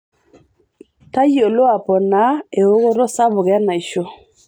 Tayiolo aponaa eokoto sapuk enaisho.